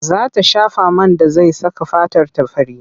Za ta shafa man da zai saka fatarta fari.